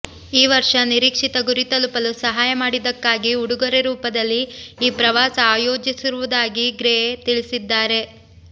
ಈ ವರ್ಷ ನಿರೀಕ್ಷಿತ ಗುರಿ ತಲುಪಲು ಸಹಾಯ ಮಾಡಿದ್ದಕ್ಕಾಗಿ ಉಡುಗೊರೆ ರೂಪದಲ್ಲಿ ಈ ಪ್ರವಾಸ ಆಯೋಜಿಸಿರುವುದಾಗಿ ಗ್ರೇ ತಿಳಿಸಿದ್ದಾರೆ